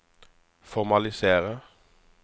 formalisere